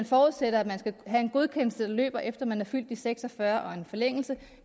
forudsætter at man skal have en godkendelse der løber efter at man er fyldt seks og fyrre og en forlængelse